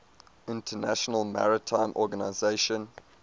international maritime organization